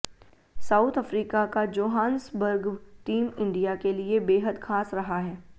south Africa का Johannesburg team India के लिए बेहद खास रहा है